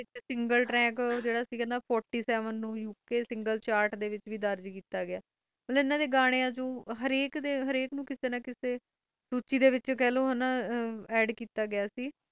Single track U. K single ਵੀ ਕੀਤਾ ਗਿਆਂ